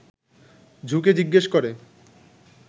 ঝুঁকে জিজ্ঞেস করে